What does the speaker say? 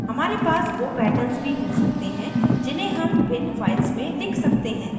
हमारे पास we patterns भी हो सकते हैं जिन्हें हम भिन्न files में लिख सकते हैं